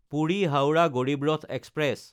Puri-Howrah Garib Rath express